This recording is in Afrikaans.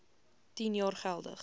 tien jaar geldig